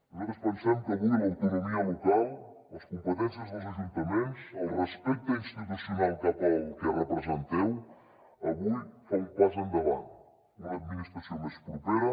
nosaltres pensem que avui l’autonomia local les competències dels ajuntaments el respecte institucional cap al que representeu avui fa un pas endavant una administració més propera